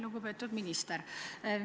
Lugupeetud minister!